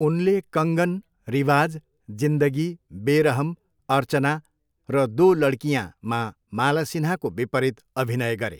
उनले कङ्गन, रिवाज, जिन्दगी, बेरहम, अर्चना र दो लडकीयांमा माला सिन्हाको विपरीत अभिनय गरे।